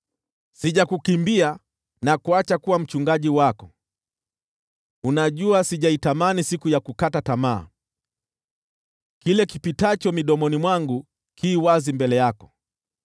Sijakukimbia na kuacha kuwa mchungaji wako; unajua sijaitamani siku ya kukata tamaa. Kile kipitacho midomoni mwangu ki wazi mbele yako.